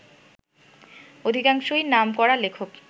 অধিকাংশই নামকরা লেখক